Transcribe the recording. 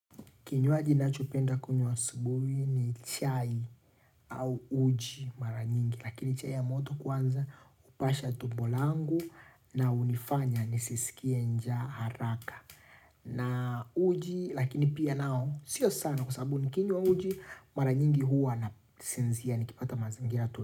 Kinywaji nachopenda kunywa asubuhi ni chai au uji mara nyingi. Lakini chai ya moto kwanza upasha tumbo langu na unifanya nisisikie njaa haraka. Na uji lakini pia nao sio sana kwa sababu nikinywa uji mara nyingi huwa nasinzia nikipata mazingira tu.